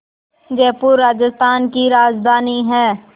जयपुर राजस्थान की राजधानी है